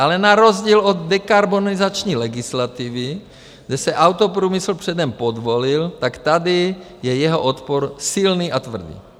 Ale na rozdíl od dekarbonizační legislativy, kde se autoprůmysl předem podvolil, tak tady je jeho odpor silný a tvrdý.